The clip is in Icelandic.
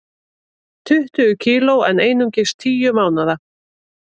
Tuttugu kg en einungis tíu mánaða